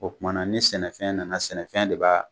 O Kumana ni sɛnɛfɛn nana sɛnɛfɛn de b'a